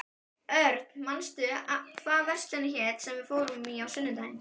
Örn, manstu hvað verslunin hét sem við fórum í á sunnudaginn?